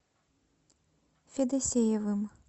федосеевым